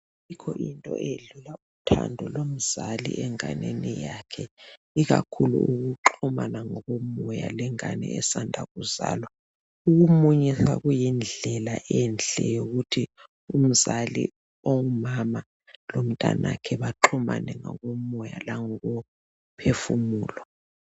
ayikho into edlula uthando lomzali enganeni yakhe ikakhulu ukuxhumana ngokomoya lengane esanda ukuzalwa ukumunyisa kuyindlela enhle yokuthi umzali ongumama lomntanakhe baxhumane ngokomoya langokophefumulo